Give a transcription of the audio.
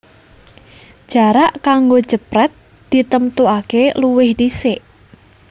Jarak kanggo jeprèt ditemtuaké luwih dhisik